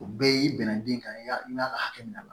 O bɛɛ y'i bɛnna den kan ya i b'a ka hakɛ minɛ a la